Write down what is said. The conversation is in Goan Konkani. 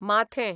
माथें